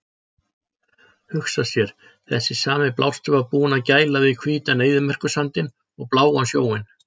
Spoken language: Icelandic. Hugsa sér, þessi sami blástur var búinn að gæla við hvítan eyðimerkursandinn og bláan sjóinn!